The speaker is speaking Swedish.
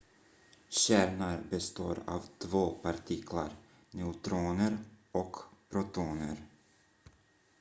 kärnan består av två partiklar neutroner och protoner